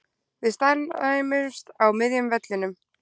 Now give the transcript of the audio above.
Við staðnæmumst á miðjum vellinum.